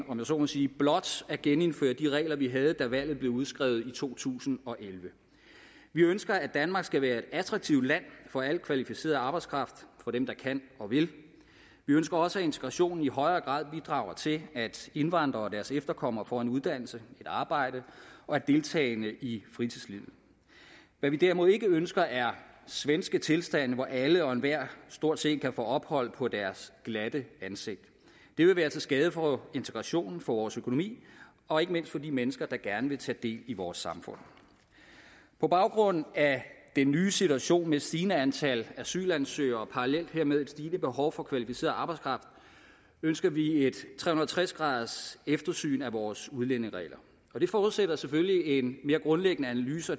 om jeg så må sige blot at genindføre de regler vi havde da valget blev udskrevet i to tusind og elleve vi ønsker at danmark skal være et attraktivt land for al kvalificeret arbejdskraft for dem der kan og vil vi ønsker også at integrationen i højere grad bidrager til at indvandrere og deres efterkommere får en uddannelse og arbejde og er deltagende i fritidslivet hvad vi derimod ikke ønsker er svenske tilstande hvor alle og enhver stort set kan få ophold på deres glatte ansigt det vil være til skade for integrationen for vores økonomi og ikke mindst for de mennesker der gerne vil tage del i vores samfund på baggrund af den nye situation med et stigende antal asylansøgere og parallelt hermed et stigende behov for kvalificeret arbejdskraft ønsker vi et tre hundrede og tres graderseftersyn af vores udlændingeregler det forudsætter selvfølgelig en mere grundlæggende analyse